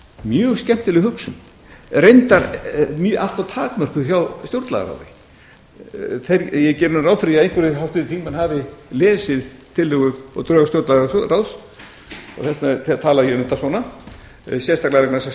mjög skemmtileg hugsun reyndar allt of takmörkuð hjá stjórnlagaráði ég geri ráð fyrir því að einhverjir háttvirtir þingmenn hafi lesið tillögu og drög stjórnlagaráðs og þess vegna tala ég um þetta svona sérstaklega vegna þess að